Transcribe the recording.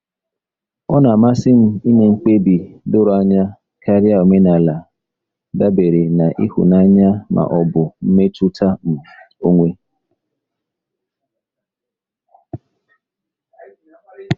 Ọ na-amasị m ime mkpebi doro anya karịa omenala dabere na ịhụnanya ma ọ bụ mmetụta um onwe.